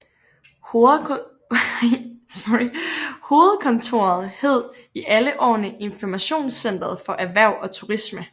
Hovedkontoret hed i alle årene Informationscentret for Erhverv og Turisme